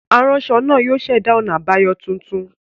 Aranṣọ naa yóò ṣẹda ọna abayọ tuntun.